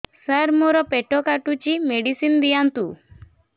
ସାର ମୋର ପେଟ କାଟୁଚି ମେଡିସିନ ଦିଆଉନ୍ତୁ